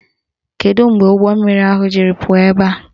Kedu mgbe ụgbọmmiri ahụ jiri pụọ ebe a?